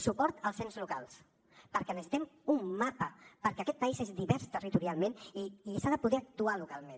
suport als ens locals perquè necessitem un mapa perquè aquest país és divers territorialment i s’ha de poder actuar localment